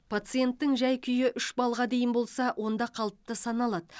пациенттің жай күйі үш баллға дейін болса онда қалыпты саналады